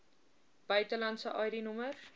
buitelandse id nommers